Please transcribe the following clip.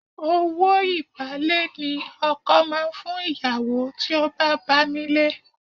Owó ìbálé ni ọkọ máa ń fún ìyàwó tí ó bá bá nílé.